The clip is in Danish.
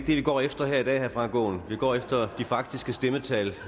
vi går efter i dag herre frank aaen vi går efter de faktiske stemmetal